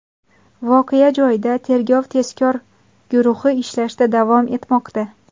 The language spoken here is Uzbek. Voqea joyida tergov-tezkor guruhi ishlashda davom etmoqda.